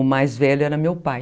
O mais velho era meu pai.